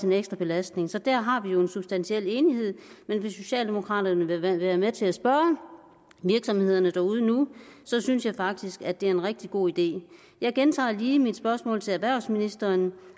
en ekstra belastning så der har vi jo en substantiel uenighed men hvis socialdemokraterne vil være med til at spørge virksomhederne derude nu synes jeg faktisk at det er en rigtig god idé jeg gentager lige mit spørgsmål til erhvervsministeren